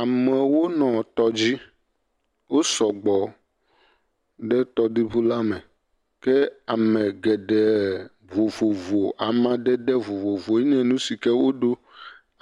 Amewo nɔ tɔ dzi, wosɔ gbɔ, ɖe tɔ ɖoɖo la me, ke ame geɖee vovovo amadede vovovo ye nye nu si ke wodo,